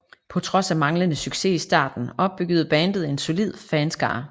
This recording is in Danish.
På trods af manglende succes i starten opbyggede bandet en solid fanskare